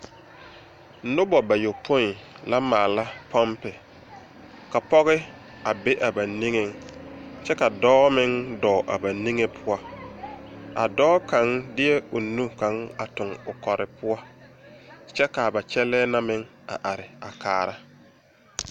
Nuba bayɔpun la maala punpi ka pɔgi a be a ba ninge kye ka doɔ meng dou a ba ninge pou a doɔ kang deɛ ɔ nu kang a tung ɔ kɔri pou kye ka a ba kyelɛɛ na meng a arẽ a kaara.